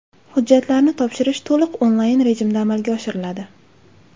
Hujjatlarni topshirish to‘liq onlayn rejimda amalga oshiriladi.